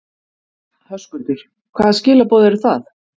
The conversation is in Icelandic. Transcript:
Höskuldur: Hvaða skilaboð eru það?